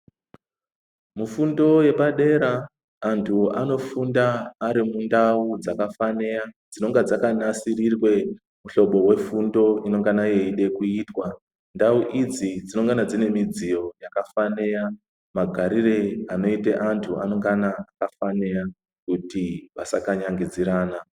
Mufundo yepadera anthu anofunda ari mundau dzakafanira dzinonga dzakanasirirwe muhlobo wefundo inengana yeide kuitwa ndau idzi dzinongona dziine midziyo yakafanira magarire anoita anthu anongane afanira kuti vasakanyangidzana.